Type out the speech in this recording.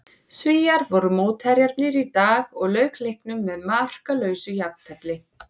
Svíar voru mótherjarnir í dag og lauk leiknum með markalausu jafntefli.